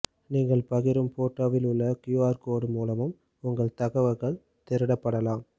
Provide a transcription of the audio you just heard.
நீங்கள் பகிரும் போட்டோவில் உள்ள க்யூ ஆர் கோடு மூலமும் உங்கள் தகவல்கள் திருடப்படலாம்